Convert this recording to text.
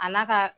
A n'a ka